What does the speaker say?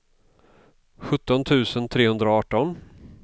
sjutton tusen trehundraarton